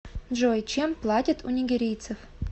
джой чем платят у нигерийцев